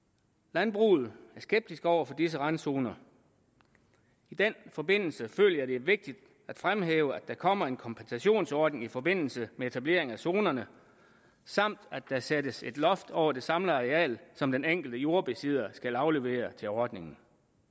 landbruget er skeptisk over for disse randzoner i den forbindelse føler jeg at det er vigtigt at fremhæve at der kommer en kompensationsordning i forbindelse med etableringen af zonerne samt at der sættes et loft over det samlede areal som den enkelte jordbesidder skal aflevere til ordningen